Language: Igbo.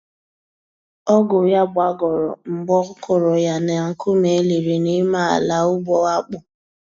Ọgụ ya gbagọrọ mgbe ọ kụrụ ya na nkume eliri n'ime ala ugbo akpụ